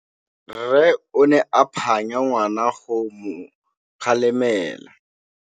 Rre o ne a phanya ngwana go mo galemela.